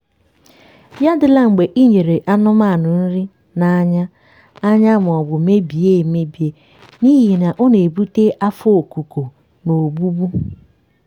ya adịla mgbe i nyere anụmanụ nri n’anya anya maọbụ mebie emebi n'ihi na ọ na-ebute afọ okuko na ogbugbu.